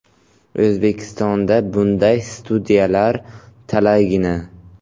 O‘zbekistonda bunday studiyalar talaygina.